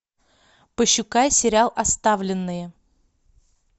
пошукай сериал оставленные